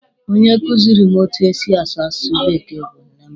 Onye kuziri m etu esi asụ asụsụ bekee bụ nne mụ.